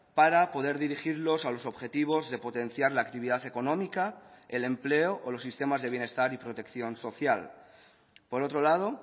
para poder dirigirlos a los objetivos de potenciar la actividad económica el empleo o los sistemas de bienestar y protección social por otro lado